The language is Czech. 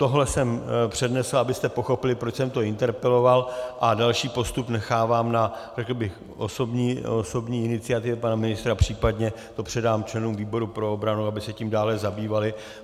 Tohle jsem přednesl, abyste pochopili, proč jsem to interpeloval, a další postup nechávám na osobní iniciativě pana ministra, případně to předám členům výboru pro obranu, aby se tím dále zabývali.